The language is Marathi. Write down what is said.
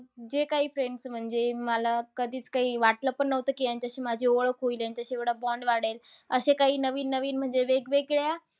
जे काही friends म्हणजे, मला कधीच काही वाटलं पण नव्हतं कि ह्यांच्याशी माझी ओळख होईल. ह्यांच्याशी एवढा bond वाढेल. असे काही नवीन-नवीन म्हणजे वेगवेगळ्या